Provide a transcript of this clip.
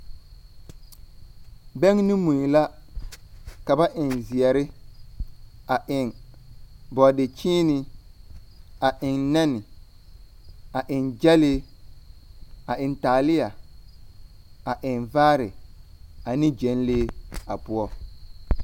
Bɛŋɛ ne mui la, ka ba eŋ zeɛre. A eŋ bɔɔdekyeene, a eŋ nɛne, a eŋ gyɛlee, a eŋ taalea, a eŋ vaare ane gyɛlee a poɔ.